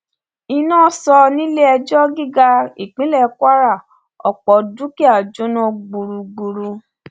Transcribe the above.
iná sọ níle ẹjọ gíga ìpínlẹ kwara ọpọ dúkìá jóná gbúgbúrú